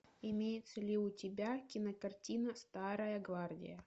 имеется ли у тебя кинокартина старая гвардия